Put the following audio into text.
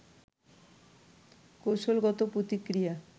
কৌশলগত প্রতিক্রিয়া